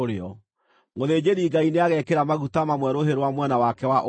Mũthĩnjĩri-Ngai nĩagekĩra maguta mamwe rũhĩ rwa mwena wake wa ũmotho,